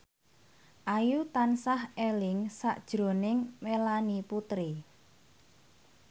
Ayu tansah eling sakjroning Melanie Putri